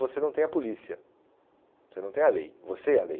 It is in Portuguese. Você não tem a polícia, você não tem a lei, você é a lei.